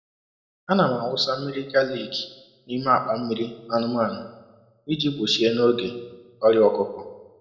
Ana m awụsa mmiri galiki n’ime akpa mmiri anụmanụ ịjì gbochie n’oge ọrịa ọkụkọ.